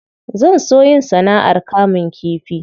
Zan so yin sana'ar kamun kifi.